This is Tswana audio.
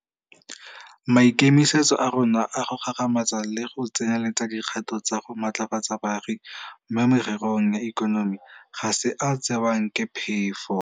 Maikemisetso a rona a go gagamatsa le go tseneletsa dikgato tsa go matlafatsa baagi mo mererong ya ikonomi ga se a a tsewang ke phefo.